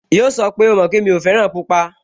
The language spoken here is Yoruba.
Yíò sọ pé, "O mọ̀ pé mi ò fẹ́ràn pupa"